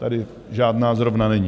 Tady žádná zrovna není.